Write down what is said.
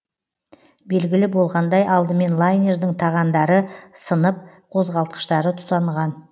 белгілі болғандай алдымен лайнердің тағандары сынып қозғалтқыштары тұтанған